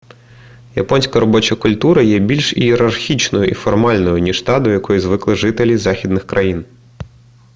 японська робоча культура є більш ієрархічною і формальною ніж та до якої звикли жителі західних країн